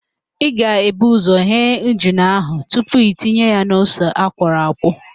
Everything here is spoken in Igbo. Ị ga-ebu ụzọ ghee ejula ahụ tupu itinye ya n'ose akwọrọ akwọ